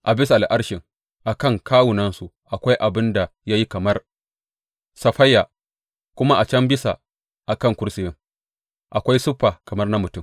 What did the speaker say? A bisa al’arshin a kan kawunansu akwai abin da ya yi kamar saffaya, kuma a can bisa a kan kursiyin akwai siffa kamar na mutum.